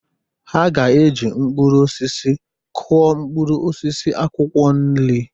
Ha ga-eji mkpụrụ osisi kụọ mkpụrụ osisi akwụkwọ nri.